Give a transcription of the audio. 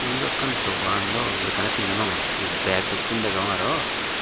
edokkan dogando bekkani sin no pangor he bag dokken gurine degong aro.